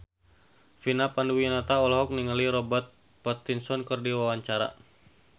Vina Panduwinata olohok ningali Robert Pattinson keur diwawancara